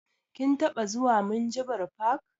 Kin taɓa zuwa minjibir fak?